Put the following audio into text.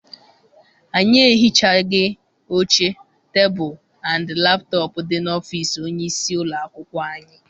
Anyị ehichaghi oche, tebulu and laptọp dị n'ọfịịsi onye isi ụlọakwụkwọ anyị.